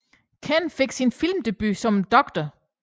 Ken fik sin filmdebut som Dr